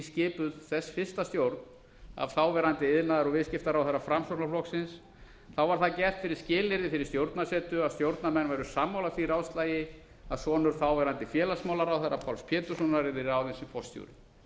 skipuð þess fyrsta stjórn af þáverandi iðnaðar og viðskiptaráðherra framsóknarflokksins var það gert fyrir skilyrði fyrir stjórnarsetu að stjórnarmenn væru sammála því ráðslagi að sonur þáverandi félagsmálaráðherra páls péturssonar yrði ráðinn sem forstjóri